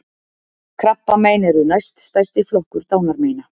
Krabbamein eru næst stærsti flokkur dánarmeina